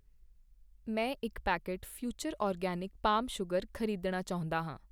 ਮੈਂ ਇੱਕ packet future organic palm sugar ਖ਼ਰੀਦਣਾ ਚਾਹੁੰਦਾ ਹਾਂ